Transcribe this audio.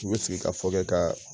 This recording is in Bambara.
U bɛ sigi k'a fɔ dɔrɔnw ka